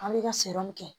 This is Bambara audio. An bɛ ka sɔrɔ min kɛ